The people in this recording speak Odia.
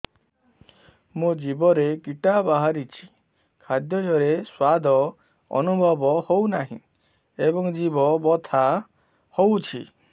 ମୋ ଜିଭରେ କିଟା ବାହାରିଛି ଖାଦ୍ଯୟରେ ସ୍ୱାଦ ଅନୁଭବ ହଉନାହିଁ ଏବଂ ଜିଭ ବଥା ହଉଛି